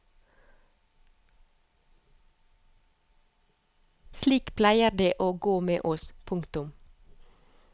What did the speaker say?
Slik pleier det å gå med oss. punktum